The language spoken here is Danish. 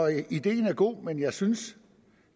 ideen er god men jeg synes